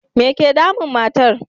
Me ke damun matar?